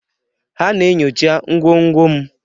Ha na-enyocha ngwongwo m